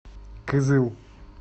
кызыл